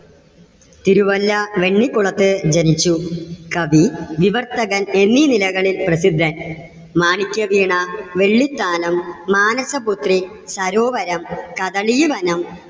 തിരുവല്ല വെണ്ണിക്കുളത്ത് ജനിച്ചു. കവി, നിവർത്തകൻ എന്നീ നിലകളിൽ പ്രസിദ്ധൻ. മാണിക്യവീണ, വെള്ളിത്താനം, മാനസപുത്രി, സരോവരം, കദളീവനം,